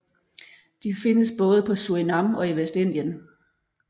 De findes både på Surinam og i Vestindien